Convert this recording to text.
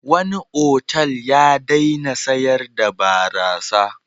Wani otal ya daina sayar da barasa.